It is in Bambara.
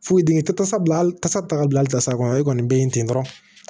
Foyi dingɛ tɛ tasa bila hali kasa taa ka bila hali tasa kɔnɔ e kɔni be yen ten dɔrɔn